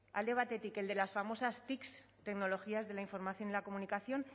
alde batetik el de las famosas tic tecnologías de la información y la comunicación